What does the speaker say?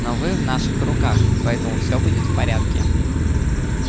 но вы в наших руках поэтому всё будет в порядке угу